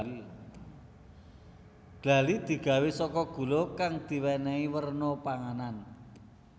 Glali digawé saka gula kang diwenehi warna panganan